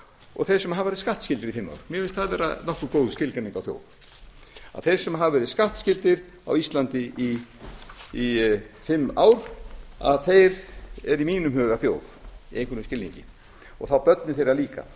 og þeir sem hafa verið skattskyldir í fimm ár mér finnst það vera nokkuð góð skilgreining á þjóð að þeir sem hafa verið skattskyldir á íslandi í fimm ár eru í mínum huga þjóð í einhverjum skilningi og þá börnin þeirra líka